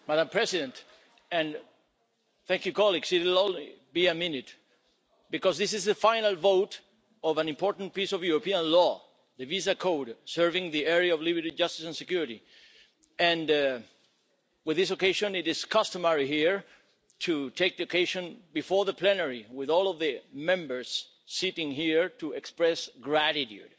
Madam President, it will only be a minute, because this is the final vote of an important piece of European law the visa code serving the area of liberty, justice and security, and with this occasion it is customary here to take the occasion before the plenary with all of the Members sitting here to express gratitude